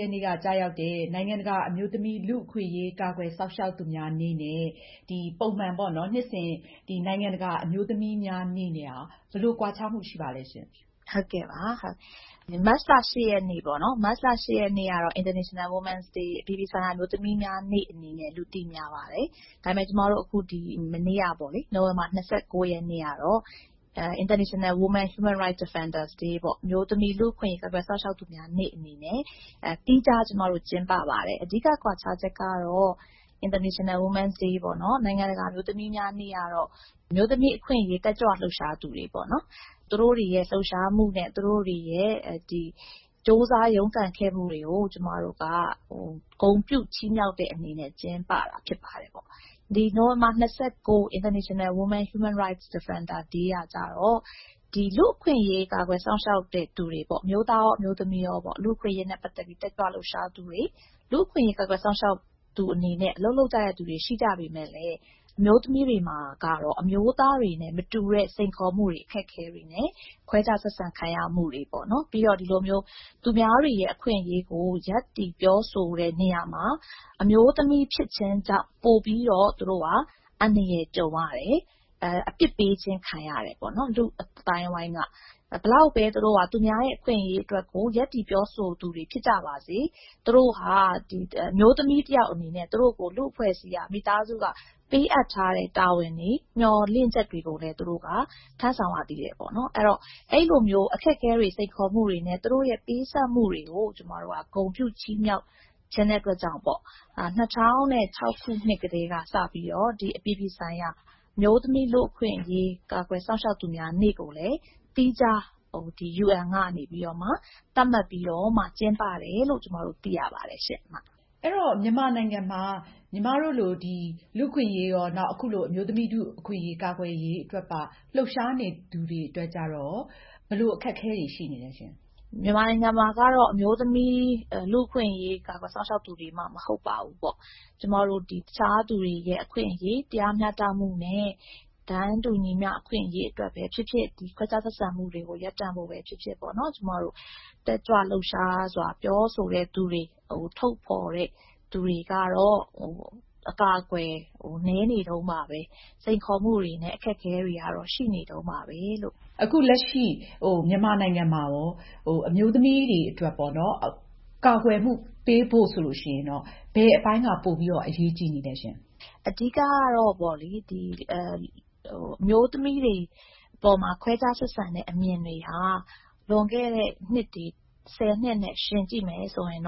ရက်နေ့က ကျရောက်တဲ့ နိုင်ငံတကာ အမျိုးသမီး လူ့အခွင့်အရေး ကာကွယ်စောင့်ရှောက်သူများနေ့နဲ့ ပုံမှန် နှစ်စဉ် နိုင်ငံတကာ အမျိုးသမီးများနေ့ နဲ့ ဘယ်လိုကွာခြားမှု ရှိပါသလဲ။ မမေစံပယ်ဖြူ။ ။ ဟုတ်ကဲ့ပါ။ မတ်လ ၈ ရက်နေ့ကတော့ International Women’s day အပြည်ပြည်ဆိုင်ရာ အမျိုးသမီးများနေ့အနေနဲ့ လူသိများပါတယ်။ ဒါပေမယ့် ကျမတို့ ဒီမနေ့ကပေါ့လေ နိုဝင်ဘာ ၂၉ ရက်နေ့ကတော့ International Women Human Rights Defender day နိုင်ငံတကာ အမျိုးသမီး လူ့အခွင့်အရေး ကာကွယ်စောင့်ရှောက်သူများနေ့ ဆိုပြီးတော့ သီးခြားကျမတို့ ကျင်းပပါတယ်။ အဓိက ကွာခြားချက်ကတော့ နိုင်ငံတကာ အမျိုးသမီးများနေ့ကတော့ အမျိုးသမီးအခွင့်အရေး တက်ကြွလှုပ်ရှားသူပေါ့နော် သူတို့တွေရဲ့ လှုပ်ရှားမှုနဲ့ သူတို့တွေရဲ့ ကြိုးစားရုန်းကန်ခဲ့မှုတွေကို ကျမတို့က ဂုဏ်ပြုချီးမြောက်တဲ့အနေနဲ့ ကျင်းပတာဖြစ်ပါတယ်ပေါ့နော်။ နိုဝင်ဘာ ၂၉International Women Human Rights Defender day ကတော့ လူ့အခွင့်အရေး ကာကွယ်စောင့်ရှောက်သူတွေပေါ့ အမျိုးသားရော၊ အမျိုးသမီးရော ၊ လူ့အခွင့်အရေး နဲ့ ပတ်သက်ပြီးတော့ တက်ကြွလှုပ်ရှားသူတွေ၊ လူ့အခွင့်အရေးကာကွယ်စောင့်ရှောက်သူအနေနဲ့ အလုပ်လုပ်ကြသူတွေရှိကြပေမယ့် အမျိုးသမီးတွေမှာတော့ အမျိုးသားတွေနဲ့ မတူညီတဲ့ စိန်ခေါ်မှုတွေ အခက်အခဲတွေနဲ့ ခွဲခြားဆက်ဆံခံရမှုတွေပေါ့နော် ။ ပြီးတော့ ဒီလိုမျိုး သူများတွေရဲ့ အခွင့်အရေးကို ရပ်တည်ပြောဆိုတဲ့နေရာမှာ အမျိုးသမီးဖြစ်ခြင်းကြောင့် ပိုပြီးတော့ သူတို့က အန္တရာယ်ကြုံရတယ်။ အပြစ်ပေးခြင်းခံရတယ်။ လူ့အသိုင်းအဝိုင်းက ဘယ်လောက်ပဲ သူတို့က သူများရဲ့ အခွင့်အရေးအတွက်ကို ရပ်တည်ပြောဆိုသူတွေ ဖြစ်ကြပါစေ သူတို့ဟာ အမျိုးသမီးတယောက်အနေနဲ့ မိသားစုက ၊ လူ့အဖွဲ့အစည်းက ပေးအပ်ထားတဲ့ တာဝန်တွေ မျှော်လင့်ချက်တွေကိုလည်း သူတို့က ထမ်းဆောင်ရသေးတယ်ပေါ့နော်။ အဲလိုမျိုး အခက်အခဲတွေ စိတ်ခေါ်မှုတွေနဲ့ သူတို့ရဲ့ ပေးဆပ်မှုတွေကို ကျမတို့က ဂုဏ်ပြုချီးမြောက်ချင်တဲ့အတွက်ကြောင့် ၂၀၀၆ ခုနှစ်ကတည်းကနေစပြီးတော့ ဒီ အပြည်ပြည်ဆိုင်ရာ အမျိုးသမီး လူ့အခွင့်အရေး ကာကွယ်စောင့်ရှောက်သူများနေ့ကိုလည်း သီးခြား UN ကနေ သတ်မှတ်ပြီးတော့ ကျင်းပတယ်လို့ ကျမတို့ သိရပါတယ်။ မအင်ကြင်းနိုင်။ ။ အဲဒီတော့ မြန်မာနိုင်ငံမှာ ညီမတို့လို လူ့အခွင့်အရေးရော ၊ အမျိုးသမီးထုအခွင့်အရေး ကာကွယ်ရေးအတွက်ပါ လှုပ်ရှားသူတွေအတွက်ကျတော့ ဘယ်လိုအခက်အခဲတွေ ရှိနေသလဲရှင့်။ မမေစံပယ်ဖြူ။ ။ မြန်မာနိုင်ငံမှာတော့ အမျိုးသမီး လူ့အခွင့်အရေး ကာကွယ်စောင့်ရှောက်သူတွေမှ မဟုတ်ပါဘူးပေါ့။ ကျမတို့ တခြားသူတွေရဲ့ အခွင့်အရေး တရားမျှတမှုနဲ့ တန်းတူညီမျှမှုအခွင့်အရေးအတွက်ပဲဖြစ်ဖြစ်၊ ခွဲခြားဆက်ဆံမှုတွေကို ရပ်တန့်ဖို့ပဲ ဖြစ်ဖြစ်ပေါ့နော် ကျမတို့ တက်ကြွလှုပ်ရှားစွာပြောဆိုသူတွေကို ထုတ်ဖော်သူတွေကတော့ အကာအကွယ် နည်းနေတုန်းပါပဲ ။ စိန်ခေါ်မှုတွေနဲ့ အခက်အခဲတွေကတော့ ရှိနေတုန်းပါပဲလို့။ မအင်ကြင်းနိုင်။ ။ အခုလက်ရှိ မြန်မာနိုင်ငံမှာရော အမျိုးသမီးတွေအတွက် ကာကွယ်မှုပေးဖို့ဆိုရင် ဘယ်အပိုင်းကပိုပြီးတော့ အရေးကြီးနေသလဲ။ မမေစံပယ်ဖြူ။ ။ အဓိကတော့ အမျိုးသမီးတွေအပေါ်မှာ ခွဲခြားဆက်ဆံတဲ့အမြင်တွေဟာ လွန်ခဲ့တဲ့ ၁၀ နှစ်နဲ့ ယှဉ်ကြည့်မယ်ဆိုရင်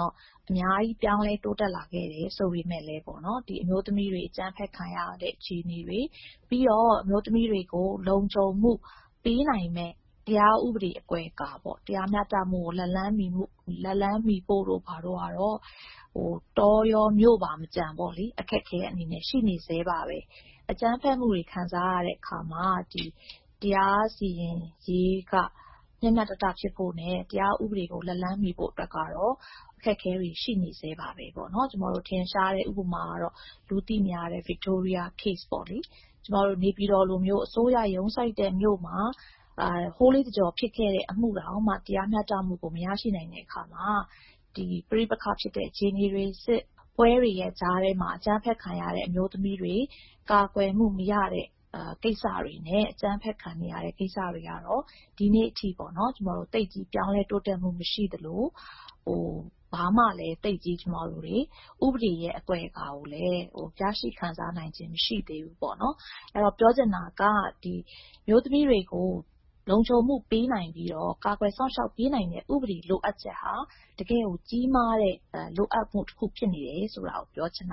အများကြီး ပြောင်းလဲ တိုးတက်လာခဲ့တယ်ဆိုပေမယ့် ဒီလိုအမျိုးသမီးတွေ အကြမ်းဖက်ခံရတဲ့ အခြေအနေတွေ ၊ ပြီးတော့ အမျိုးသမီးတွေကို လုံခြုံမှု ပေးနိုင်မယ့် တရားဥပဒေအဖွဲ့ကပေါ့နော် ၊ တရားမျှတမှုကို လက်လှမ်းမီမှု ၊ လက်လှမ်းမီဖို့တို့ဘာတို့ကတော့ တောရော ၊ မြို့မကျန် အခက်အခဲက ရှိနေသေးတယ်။ အကြမ်းဖက်မှုတွေ ခံစားရတဲ့ အခါမှာ တရားစီရင်ရေးက မျှမျှတတ ဖြစ်ဖို့၊ တရားဥပဒေကိုလက်လှမ်းမီဖို့အတွက်ကတော့ အခက်အခဲတွေ ရှိနေစဲပါပဲ။ ကျမတို့ ထင်ရှားတဲ့ ဥပမာကတော့ လူသိများတဲ့ Victoria အမှုပေါ့နော်။ နေပြည်တော်လိုမျိုး အစိုးရ ရုံးစိုက်တဲ့မြို့မှာ ဟိုးလေးတကျော်ဖြစ်ခဲ့တဲ့ အမှုမှာတောင်မှ တရားမျှတမှုကို မရရှိနိုင်တဲ့အခါမှာ ပဋိပက္ခဖြစ်တဲ့ စစ်ပွဲတွေကြားမှာ အကြမ်းဖက်ခံရတဲ့ အမျိုးသမီးတွေ ကာကွယ်မှုမရတဲ့ ကိစ္စတွေနဲ့ အကြမ်းဖက်ခံရတဲ့ကိစ္စတွေကတော့ ဒီနေ့အထိ သိပ်ပြီးတော့ ပြောင်းလဲတိုးတက်မှုမရှိသလို ဘာမှ ကျမတို့ သိပ်ပြီး ဥပဒေရဲ့ အကွယ်အကာလည်း ရရှိခံစားနိုင်ခြင်းမရှိသေးဘူးပေါ့နော်။ အဲဒီတော့ ပြောချင်တာက အမျိုးသမီးတွေကို လုံခြုံမှုပေးနိုင်သော ၊ ကာကွယ်စောင့်ရှောက်မှုပေးနိုင်တဲ့ ဥပဒေရဲ့ လိုအပ်ချက်တွေဟာ တကယ့်ကို ကြီးမားတဲ့ လိုအပ်ချက်ဖြစ်နေတယ်ဆိုတာကို ပြောချင်ပ